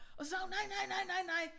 Og så sagde hun nej nej nej nej nej